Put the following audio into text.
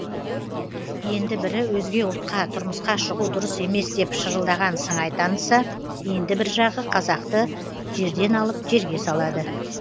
енді бірі өзге ұлтқа тұрмысқа шығу дұрыс емес деп шырылдаған сыңай танытса енді бір жағы қазақты жерден алып жерге салады